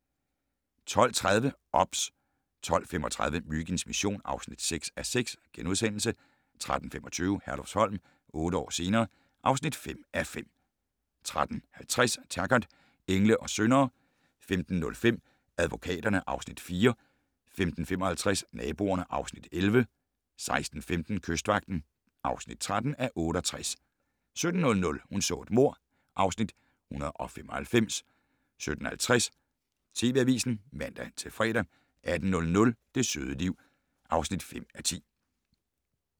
12:30: OBS 12:35: Myginds mission (6:6)* 13:25: Herlufsholm - otte år senere ... (5:5) 13:50: Taggart: Engle og syndere 15:05: Advokaterne (Afs. 4) 15:55: Naboerne (Afs. 11) 16:15: Kystvagten (13:68) 17:00: Hun så et mord (Afs. 195) 17:50: TV Avisen (man-fre) 18:00: Det søde liv (5:10)